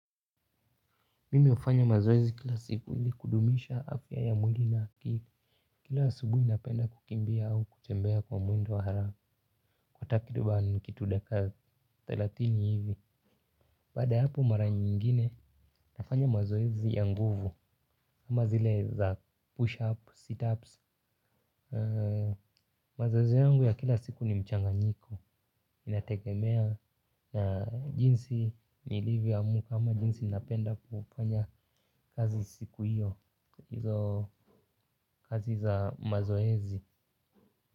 Mimi hufanya mazoezi kila siku ili kudumisha afya ya mwili na akili. Kila asubuhi napenda kukimbia au kutembea kwa muda wa haraka. Kwa takriban kitu dakika thelathini hivi. Baada ya hapo mara nyingine nafanya mazoezi ya nguvu ama zile za push up, sit ups. Mazoezi yangu ya kila siku ni mchanganyiko inategemea na jinsi nilivyo amka ama jinsi napenda kufanya kazi siku hiyo hizo kazi za mazoezi.